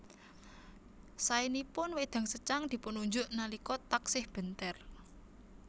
Saénipun wédang secang dipun unjuk nalika taksih bentèr